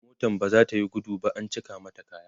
motan baza tayi gudu ba an cika mata kaya